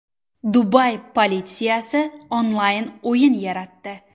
Dubay politsiyasi onlayn o‘yin yaratdi.